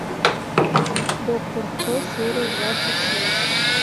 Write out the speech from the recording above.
доктор кто серия двадцать шесть